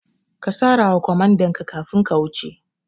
Ka sara wa kwamandanka kafin ka wuce